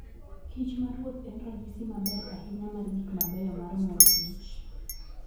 Kich maruoth en ranyisi maber ahinya mar gik mabeyo mar mor kich.